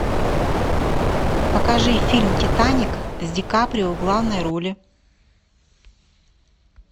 покажи фильм титаник с ди каприо в главной роли